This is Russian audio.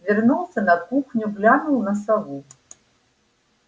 вернулся на кухню глянул на сову